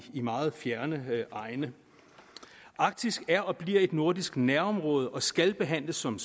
meget fjernere egne arktis er og bliver et nordisk nærområde og skal behandles som